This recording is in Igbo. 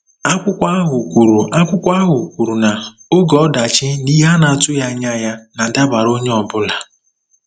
Akwụkwọ ahụ kwuru Akwụkwọ ahụ kwuru na “oge ọdachi na ihe a na-atụghị anya ya na-adabara onye ọ bụla.